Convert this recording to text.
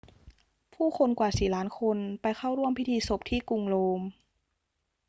ผู้คนกว่าสี่ล้านคนไปเข้าร่วมพิธีศพที่กรุงโรม